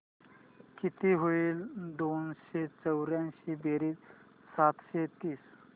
किती होईल दोनशे चौर्याऐंशी बेरीज सातशे तीस